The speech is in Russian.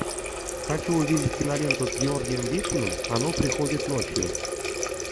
хочу увидеть киноленту с георгием вициным оно приходит ночью